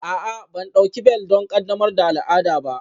A'a, ban ɗauki bel don ƙaddamar da al'ada ba